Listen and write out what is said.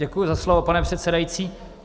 Děkuji za slovo, pane předsedající.